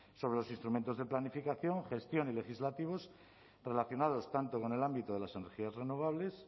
sobre los instrumentos de planificación gestión y legislativos relacionados tanto con el ámbito de las energías renovables